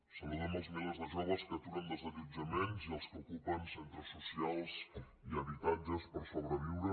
saludem els milers de joves que aturen desallotjaments i els que ocupen centres socials i habitatges per sobreviure